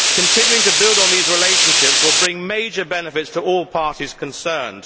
Continuing to build on these relationships will bring major benefits to all parties concerned.